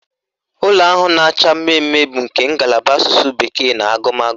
Ụlọ ahụ na-acha mmemme bụ nke ngalaba Asụsụ bekee na agụmagụ